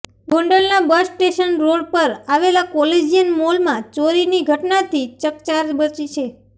ગોંડલના bus station road પર આવેલા કોલેજીયન મોલમાં ચોરીની ઘટનાથી ચકચાર મચી છે